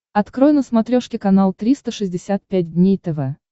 открой на смотрешке канал триста шестьдесят пять дней тв